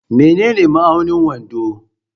Menene ma'aunin wando?